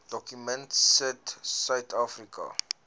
dokument sit suidafrika